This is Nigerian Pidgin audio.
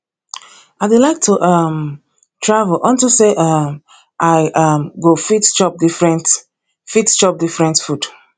i dey like to um travel unto say um i um go fit chop different fit chop different food